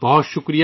نمسکار